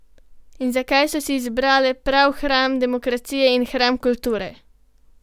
In zakaj so si izbrale prav hram demokracije in hram kulture?